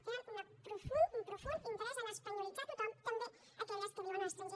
tenen un profund interès a espanyolitzar tothom també aquelles que viuen a l’estranger